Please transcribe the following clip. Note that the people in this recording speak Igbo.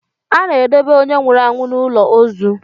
A na-edobe onye nwụrụ anwụ n'ụlọ ozu.